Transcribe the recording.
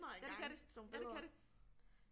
Ja det kan det. Ja det kan det